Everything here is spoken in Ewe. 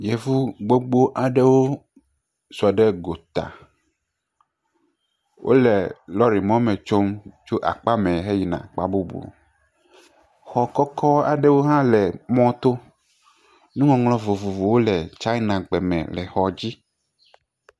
Yevu gbogbo aɖewo sɔ ɖe gota. Wole lɔri mɔme tsom tso akpamɛ heyina akpa bubu. Xɔ kɔkɔ aɖewo hã le mɔto. Nuŋɔŋlɔ vovovowo le Tsaenagbe me le xɔ dzi.